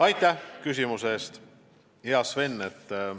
Aitäh küsimuse eest, hea Sven!